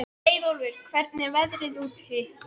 Leiðólfur, hvernig er veðrið úti?